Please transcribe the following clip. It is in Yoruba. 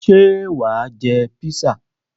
Ṣé wà á jẹ písà?